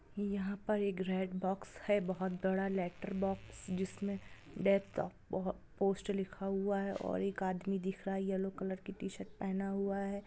यहा पर एक रेड बॉक्स है बहुत बड़ा लेटर बॉक्स। जिसमे डे-- ब-- पोस्ट लिखा हुआ है। और एक आदमी दिख रहा है यैलो कलर की टी-शर्ट पहना हुआ है।